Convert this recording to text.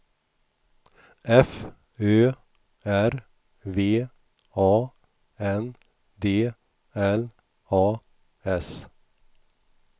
F Ö R V A N D L A S